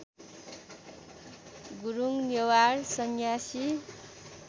Gurung Newar Sanyasi